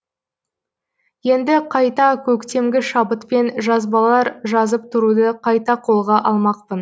енді қайта көктемгі шабытпен жазбалар жазып тұруды қайта қолға алмақпын